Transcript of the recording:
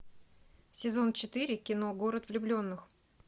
сезон четыре кино город влюбленных